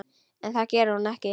En það gerði hún ekki.